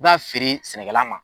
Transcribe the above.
I b'a feere sɛnɛkɛla ma.